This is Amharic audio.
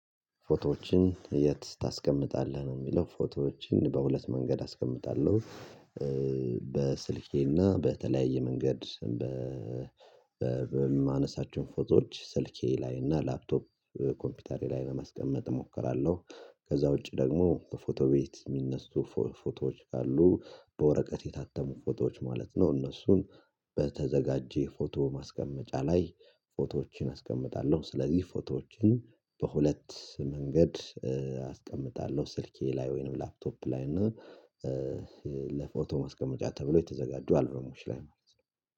ፎቶዎችን የት ታስቀምጣለህ ነው የሚለው? ፎቶዎችን በሁለት መንገድ አስቀምጣለሁ። በስልኬና በተለያየ መንገድ በማነሳችሁን ፎቶዎች ስልኬ ላይና እና ላፕቶፕ ኮምፒውተሬ ላይ ለማስቀመጥ እሞክራለሁ። ከዛ ውጪ ደግሞ በፎቶ ቤት የሚነሱ ፎቶዎች ካሉ በወረቀት የታተሙ ፎቶዎች ማለት ነው እነሱን በተዘጋጀ ፎቶ ማስቀመጫ ላይ ፎቶዎችን አስቀምጣለሁ። ስለዚህ ፎቶዎችን በሁለት መንገድ አስቀምጣለሁ ስልኬ ላይ ወይንም ላፕቶፕ ላይ ነው። ለፎቶ ማስቀመጫ ተብሎ የተዘጋጀ አልበሞሽ ላይ ነው